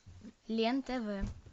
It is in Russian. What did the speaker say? лен тв